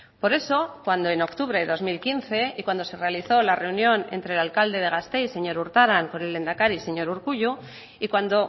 por eso cuando en octubre de dos mil quince y cuando se realizó la reunión entre el alcalde de gasteiz señor urtaran con el lehendakari señor urkullu y cuando